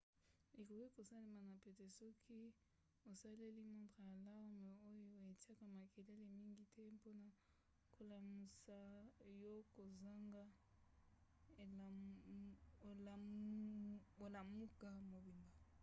ekoki kosalema na pete soki osaleli montre alarme oyo etiaka makelele mingi te mpona kolamusa yo kozanga olamuka mobimba